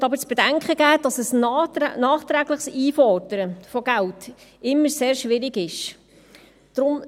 Ich möchte aber zu bedenken geben, dass ein nachträgliches Einfordern von Geld immer sehr schwierig ist.